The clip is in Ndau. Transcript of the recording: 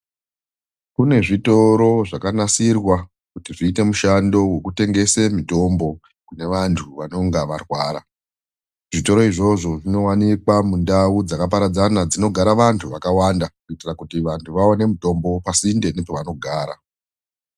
Kune zvitoro zvakanasirwa, kuti zviite mishando wekutengese mitombo, kune vantu vanonga varwara .Zvitoro izvozvo zvinowanikwa mundau dzakaparadzana dzinogara vantu vakawanda, kuitira kuti vantu vaone mitombo pasinde nepavanogara.